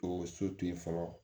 O so to ye fɔlɔ